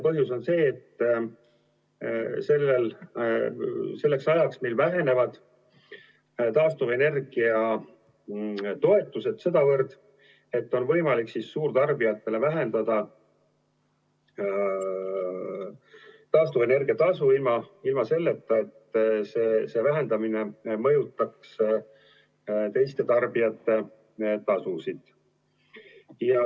Põhjus on see, et selleks ajaks meil vähenevad taastuvenergia toetused sedavõrd, et on võimalik vähendada suurtarbijatele taastuvenergia tasu ilma, et vähendamine mõjutaks teiste tarbijate tasusid.